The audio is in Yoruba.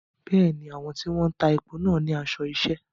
Bẹ́ẹ̀ni, àwọn tí wọ́n ń ta epo náà ní aṣọ iṣẹ́.